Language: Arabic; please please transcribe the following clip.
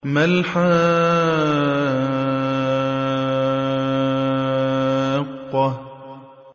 مَا الْحَاقَّةُ